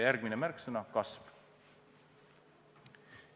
Järgmine märksõna: "kasv".